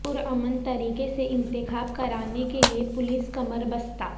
پرامن طریقے سے انتخاب کرانے کےلئے پولس کمر بستہ